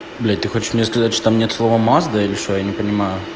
блядь ты хочешь мне сказать что там нет слова мазда или что я не понимаю